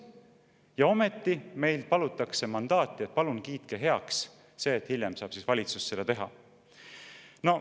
Ja ometi meilt palutakse mandaati: palun kiitke heaks see, et hiljem saab valitsus seda teha.